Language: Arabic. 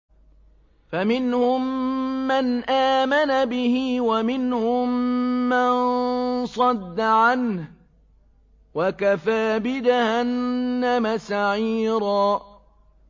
فَمِنْهُم مَّنْ آمَنَ بِهِ وَمِنْهُم مَّن صَدَّ عَنْهُ ۚ وَكَفَىٰ بِجَهَنَّمَ سَعِيرًا